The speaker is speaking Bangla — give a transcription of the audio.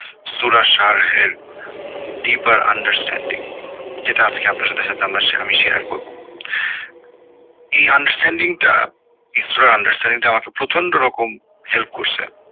help deeper understanding যেটা আজকে আপনাদের সাথে আমি আমি share করবো এই understanding টা understanding আমাকে প্রচন্ড রকম help করসে